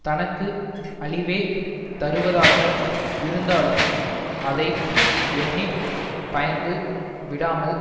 தனக்கு அழிவே தருவதாக இருந்தாலும் அதை எண்ணி பயந்து விடாமல்